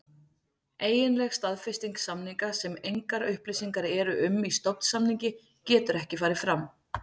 Eiginleg staðfesting samninga, sem engar upplýsingar eru um í stofnsamningi, getur ekki farið fram.